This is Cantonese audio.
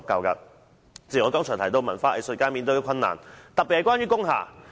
主席，我剛才提及文化藝術界所面對的困難，特別是關於工廈。